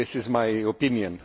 This is my opinion.